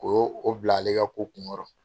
O y'o bila ale ka ko kunkɔrɔ.